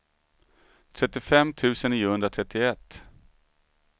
trettiofem tusen niohundratrettioett